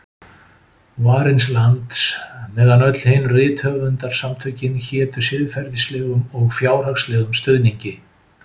Varins lands, meðan öll hin rithöfundasamtökin hétu siðferðislegum og fjárhagslegum stuðningi.